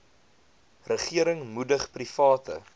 regering moedig private